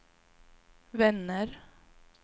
vänner